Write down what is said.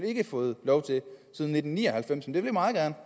ikke fået lov til siden nitten ni og halvfems men vi vil meget gerne